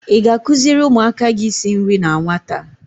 I ga-akụziri ụmụaka gị isi nri na nwata?